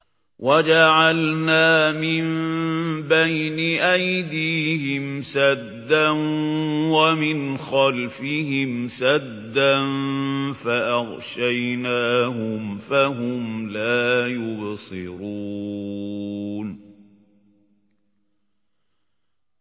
وَجَعَلْنَا مِن بَيْنِ أَيْدِيهِمْ سَدًّا وَمِنْ خَلْفِهِمْ سَدًّا فَأَغْشَيْنَاهُمْ فَهُمْ لَا يُبْصِرُونَ